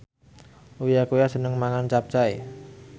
Uya Kuya seneng mangan capcay